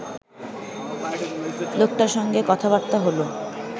লোকটার সঙ্গে কতাবার্তা হলো